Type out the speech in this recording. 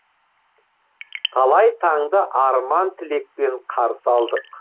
талай таңды арман тілекпен қарсы алдық